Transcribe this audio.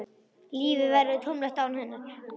Lífið verður tómlegt án hennar.